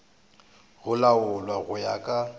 go laolwa go ya ka